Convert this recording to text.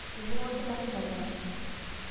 Eibung'a olkitarri malaria